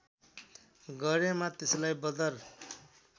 गरेमा त्यसलार्इ बदर